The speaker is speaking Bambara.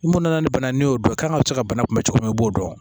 I mun nana ni bana ni y'o dɔn i kan ka cɛ ka bana kunbɛn cogo min na i b'o dɔn